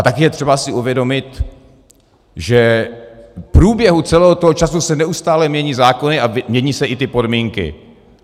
A také je třeba si uvědomit, že v průběhu celého toho času se neustále mění zákony a mění se i ty podmínky.